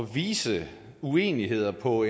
vise uenigheder på